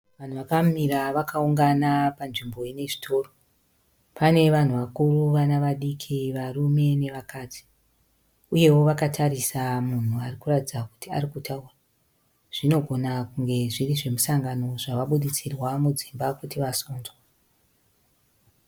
Vanhu vakamira vakaungana panzvimbo yezvitoro pane vanhu vakuru vana vadiki varume nevakadzi uyewo vakatarisa munhu akuratidza kuti ari kutaura zvinogona kunge zviri zvemusango zvawabuditsirwa mudzimba kuti vagonzwe